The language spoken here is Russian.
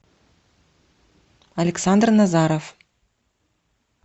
александр назаров